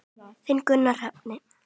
Þinn Gunnar Hrafn.